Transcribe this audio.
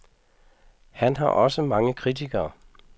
Han har også mange kritikere.